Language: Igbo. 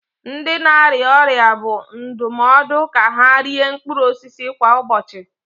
Ndị na-arịa ọrịa bụ ndụmọdụ ka ha rie mkpụrụ osisi kwa ụbọchị